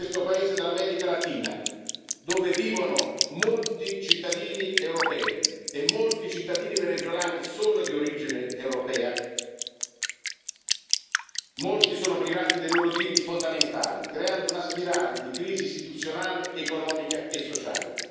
In questo paese dell'America latina, dove vivono molti cittadini europei e molti cittadini venezuelani sono di origine europea, molti sono privati dei loro diritti fondamentali, creando una spirale di crisi istituzionale, economica e sociale.